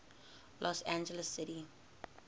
los angeles city